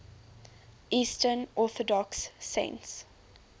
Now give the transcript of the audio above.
eastern orthodox saints